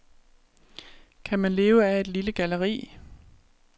Kan man leve af et lille galleri?